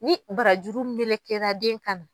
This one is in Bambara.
Ni barajuru mɛlɛkɛra den kan na.